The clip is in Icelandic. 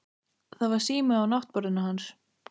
Það var sími á náttborðinu hans.